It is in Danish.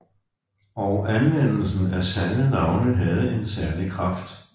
Og anvendelsen af sande navne havde en særlig kraft